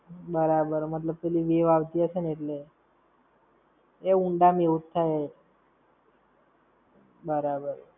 બરાબર, મતલબ પેલી wave આવતી હશે ને એટલે. એ ઊંડા માં એવું જ થાય. બરાબર.